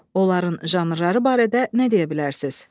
Onların janrları barədə nə deyə bilərsiniz?